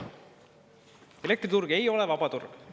Elektriturg ei ole vaba turg!